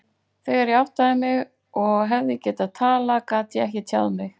Þegar ég áttaði mig og hefði getað talað, gat ég ekki tjáð mig.